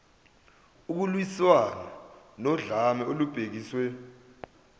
ukulwiswana nodlame olubhekiswe